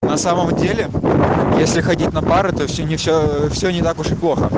на самом деле если ходить на пары то всё не всё всё не так уж и плохо